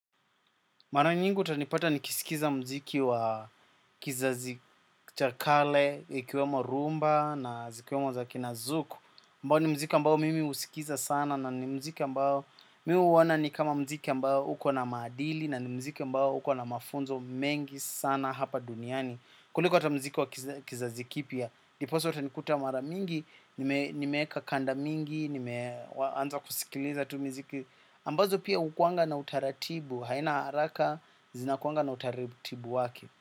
Mara nyingi utanipata nikisikiza muziki wa kizazi cha kale, ikiwemo rhumba na zikiwema za kina zuku. Ambao ni muziki ambao mimi husikiza sana na ni muziki ambao mimi huona ni kama muziki ambao uko na maadili na ni muziki ambao uko na mafunzo mengi sana hapa duniani. Kuliko hata muziki wa kizazi kipya. Ndipisa utanikuta mara mingi, nimeweka kanda mingi, nimeanza kusikiliza tu miziki ambazo pia hukuanga na utaratibu, haina haraka zinakuanga na utaratibu wake.